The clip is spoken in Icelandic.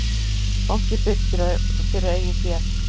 Bankinn byggir fyrir eigið fé